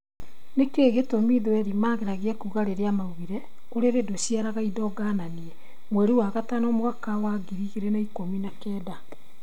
Nĩkĩ gĩtũmi thweri mageragia kuga rĩrĩa maugire " ũrĩrĩ ndũciaraga indo ngananie", mweri wa gatano mwaka wa ngiri igĩrĩ na ikũmi na kenda